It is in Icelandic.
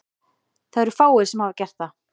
Það eru fáir sem hafa gert það.